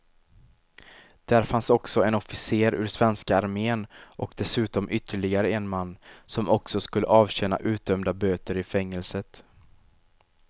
Där fanns också en officer ur svenska armén och dessutom ytterligare en man, som också skulle avtjäna utdömda böter i fängelset.